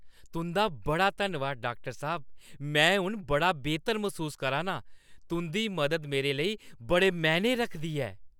तुंʼदा बड़ा धन्नवाद, डाक्टर साह्‌ब! में हून बड़ा बेह्‌तर मसूस करा नां। तुंʼदी मदद मेरे लेई बड़े मैह्‌ने रखदी ऐ।